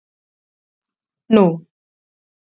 Andri Ólafsson: Nú?